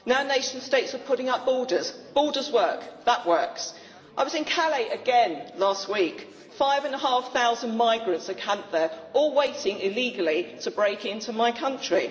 Now nation states are putting up borders borders work, that works. I was in Calais again last week five and a half thousand migrants are camped there, all waiting illegally to break into my country.